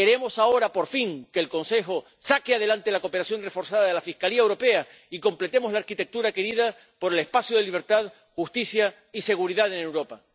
Queremos ahora, por fin, que el Consejo saque adelante la cooperación reforzada de la Fiscalía Europea y completemos la arquitectura querida por el espacio de libertad, justicia y seguridad en Europa.